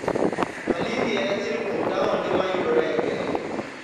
Malindi en achiel kuom taonde ma yudore e Kenya.